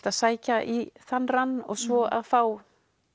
að sækja í þann rann og svo að fá